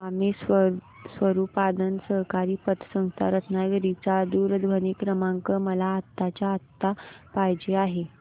स्वामी स्वरूपानंद सहकारी पतसंस्था रत्नागिरी चा दूरध्वनी क्रमांक मला आत्ताच्या आता पाहिजे आहे